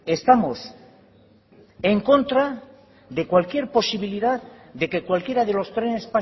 estamos en contra de cualquier posibilidad de que cualquiera de los trenes